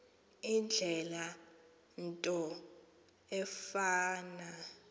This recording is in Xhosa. indlela into efana